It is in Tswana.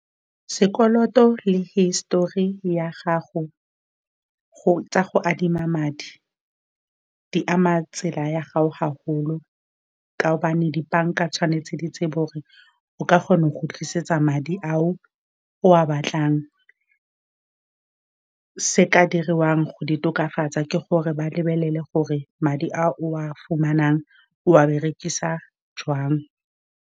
Sekoloto le hisitori ya gago go tsa go adima madi, di ama tsela ya gago haholo ka gobane dibanka tshwanetse di tsebe gore o kgona go kgotlisetsa madi ao o a batlang. Se se ka diriwang go di tokafatsa ke gore ba lebelele gore madi a o a fumanang, o a berekisa joang.